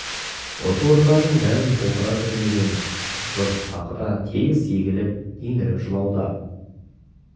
осы орындардың бәрін толтыра кернеген жұрт тағы да тегіс егіліп еңіреп жылауда